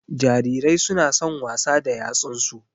Jarirai su na son wasa da yatsun su